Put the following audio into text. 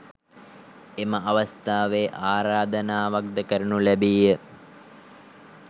එම අවස්ථාවේ ආරාධනාවක් ද කරනු ලැබීය.